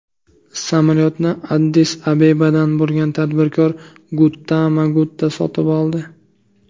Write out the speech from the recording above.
Samolyotni Addis-Abebadan bo‘lgan tadbirkor Guttama Gutta sotib oldi.